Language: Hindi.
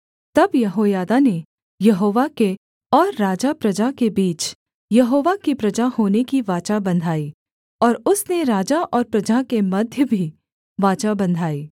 तब यहोयादा ने यहोवा के और राजाप्रजा के बीच यहोवा की प्रजा होने की वाचा बँधाई और उसने राजा और प्रजा के मध्य भी वाचा बँधाई